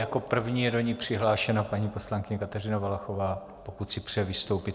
Jako první je do ní přihlášena paní poslankyně Kateřina Valachová, pokud si přeje vystoupit.